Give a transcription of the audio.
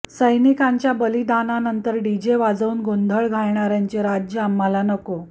सैनिकांच्या बलिदानानंतर डीजे वाजवून गोंधळ घालणाऱ्यांचे राज्य आम्हाला नको